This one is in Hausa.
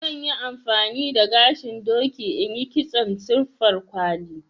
zan Yi amfani da gashin doki in yi kitson siffar kwali.